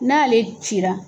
N'ale cira